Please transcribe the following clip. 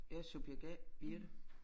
Jeg subjekt A Birthe